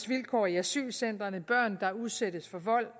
vilkår i asylcentrene og børn der udsættes for vold